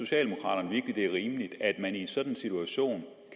det er rimeligt at man i en sådan situation